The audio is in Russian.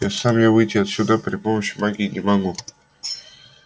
а сам я выйти отсюда при помощи магии не могу